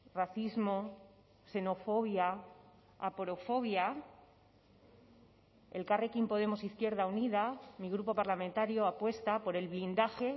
racismo xenofobia aporofobia elkarrekin podemos izquierda unida mi grupo parlamentario apuesta por el blindaje